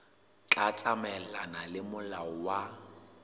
tla tsamaelana le molao wa